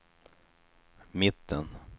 mitten